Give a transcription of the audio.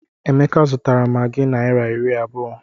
Emeka zụtara maggi naira iri abụọ.